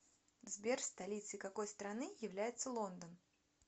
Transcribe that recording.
сбер столицей какой страны является лондон